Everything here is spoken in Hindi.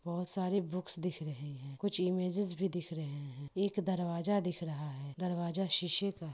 बहोत सारी बुक्स दिख रही है कुछ इमेजेस भी दिख रहे हैं एक दरवाजा दिख रहा है दरवाजा शीशे का --